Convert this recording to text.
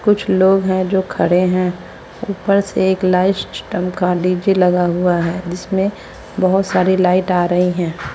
कुछ लोग हैं जो खड़े हैं ऊपर से एक लाइट सिस्टम का डीजे लगा हुआ है जिसमें बहोत सारी लाइट आ रही है।